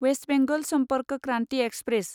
west Bengal Sampark Kranti express